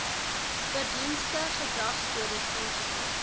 verdienste gedragskodes ens